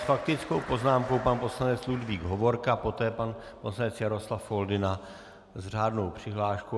S faktickou poznámkou pan poslanec Ludvík Hovorka, poté pan poslanec Jaroslav Foldyna s řádnou přihláškou.